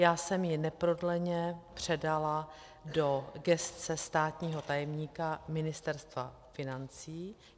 Já jsem ji neprodleně předala do gesce státního tajemníka Ministerstva financí.